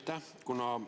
Aitäh!